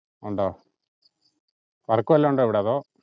ഉണ്ടോ work വല്ലോം ഉണ്ടോ ഇവിടെ അതോ?